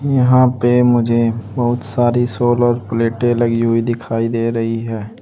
यहां पे मुझे बहुत सारी सोलर प्लेटें लगी हुई दिखाई दे रही हैं।